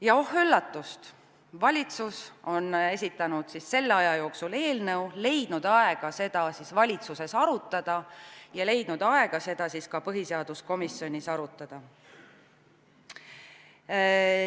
Ja oh üllatust, valitsus on esitanud selle aja jooksul eelnõu, leidnud aega seda valitsuses arutada ja leidnud aega seda ka põhiseaduskomisjonis arutada.